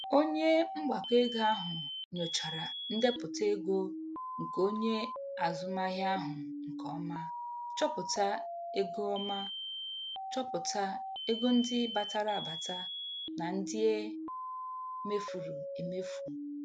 Onye mgbakọego ahụ nyochara ndepụta ego nke onye azụmahịa ahụ nke ọma, chọpụta ego ọma, chọpụta ego ndị batara abata na ndị e mefuru emefu.